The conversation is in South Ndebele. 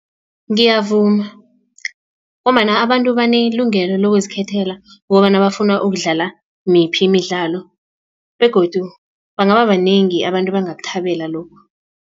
Ngiyavuma ngombana abantu banelungelo lokuzikhethela kukobana bafuna ukudlala miphi imidlalo begodu bangaba banengi abantu abangakuthabela lokho.